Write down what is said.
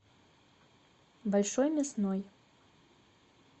большой мясной